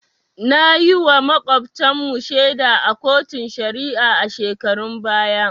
Nayiwa Makotan mu shaida a koton shari'a a shekarun baya